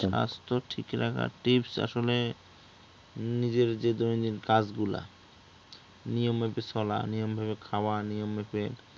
স্বাস্থ্য ঠিক রাখার tips আসলে নিজের যে দৈনিক কাজগুলা নিয়ম মেপে চলা, নিয়মভাবে খাওয়া, নিয়ম মেপে